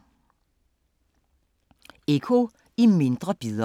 Eco i mindre bidder